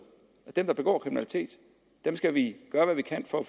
at dem der begår kriminalitet skal vi gøre hvad vi kan for at